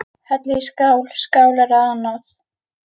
Hellið í skál, skálar eða annað.